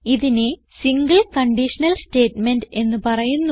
ഇതിനെ single conditional statement എന്ന് പറയുന്നു